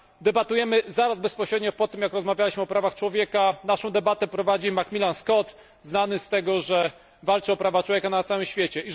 Debatujemy bezpośrednio po tym, jak rozmawialiśmy o prawach człowieka, a naszą debatę prowadzi McMillan Scott znany z tego, że walczy o prawa człowieka na całym świecie.